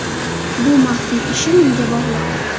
Bu maxfiy ishi menga bog‘liq.